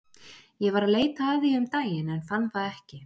Ég var að leita að því um daginn en fann það ekki.